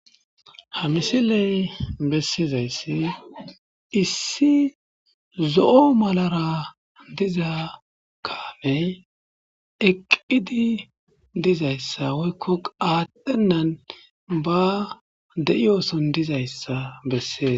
Ha misiley bessizayssi issi zo'o malara diza kaamey eqqidi dizayssa woykko aatdhennan ba de'i ooson dizayssa bessez